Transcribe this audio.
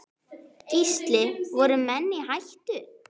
Gísli: Voru menn í hættu?